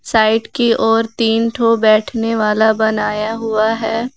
Side की ओर तीन ठो बैठने वाला बनाया हुआ है।